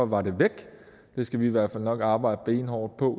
var de væk det skal vi i hvert fald nok arbejde benhårdt på